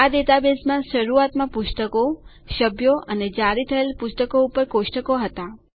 આ ડેટાબેઝમાં શરુઆતમાં પુસ્તકો સભ્યો અને જારી થયેલ પુસ્તકો ઉપર કોષ્ટકો હતા